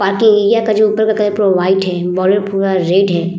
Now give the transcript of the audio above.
बाकि एरिया का जो ऊपर का कलर पूरा वाइट है। बॉर्डर पूरा रेड है।